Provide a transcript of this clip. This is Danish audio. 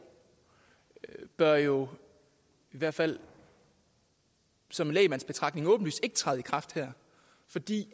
bør jo i hvert fald som lægmandsbetragtning åbenlyst ikke træde i kraft her fordi